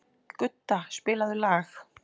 Gudda, spilaðu lag.